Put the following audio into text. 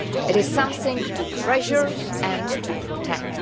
It is something to treasure and to protect.